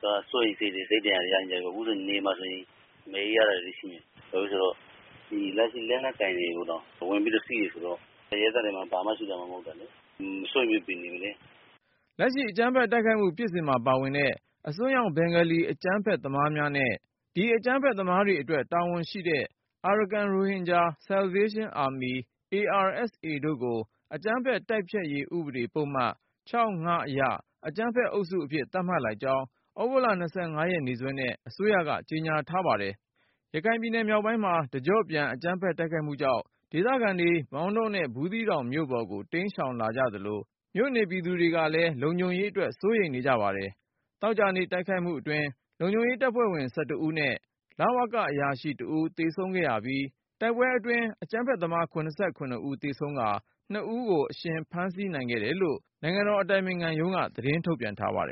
က စိုးရိမ်စိတ်တွေနဲ့ စိတ်ဒဏ်ရာရကြတယ် အခုနယ်မှာဆိုရင် မနေရဲကြတာတွေရှိတယ် လက်ရှိ လက်နက်ကိုင်တွေကိုတောင် ဝင်ပြီးတော့ စီးတယ်ဆိုတော့ လူတွေမှာ ဘာမှာမှ မရှိတာ စိုးရိမ်စိတ်တွေနဲ့နေနေရတယ်။" လက်ရှိ အကြမ်းဖက်တိုက်ခိုက်မှု ဖြစ်စဉ်မှာပါဝင်တဲ့ အစွန်းရောက်ဘင်္ဂါလီ အကြမ်းဖက်သမားများနဲ့ ဒီအကြမ်းဖက်သမားတွေအတွက် တာဝန် ရှိတဲ့ Arakan Rohingya Salvation Army တို့ကို အကြမ်းဖက် တိုက်ဖျက်ရေးဥပဒေ ပုဒ်မ အရ “အကြမ်းဖက်အုပ်စု” အဖြစ် သတ်မှတ်လိုက်ကြောင်း သြဂုတ် ရက်နေ့စွဲနဲ့ အစိုးရက ကြေညာလိုက်ပါတယ်။ ရခိုင်ပြည်နယ်မြောက်ပိုင်း တကျော့ပြန် အကြမ်းဖက်တိုက်ခိုက်မှုကြောင့် ဒေသခံတွေ မောင်တောနဲ့ ဘူးသီးတောင်မြို့ပေါ်ကို တိမ်းရှောင်လာ သလို မြို့နေပြည်သူတွေလည်း လုံခြုံရေးအတွက် စိုးရိမ်နေပါတယ်။ သောကြာနေ့ တိုက်ခိုက်မှုအတွင်း လုံခြုံရေးတပ်ဖွဲ့ဝင် ဦးနဲ့ လဝက အရာရှိ ဦး သေဆုံးခဲ့ရပြီး၊ တိုက်ပွဲအတွင်း အကြမ်းဖက်သမား ဦး သေဆုံးကာ ဦး အရှင်ဖမ်းဆီးခဲ့တယ်လို့ နိုင်ငံတော်အတိုင်ပင်ခံ ရုံးက သတင်းထုတ်ပြန်ပါတယ်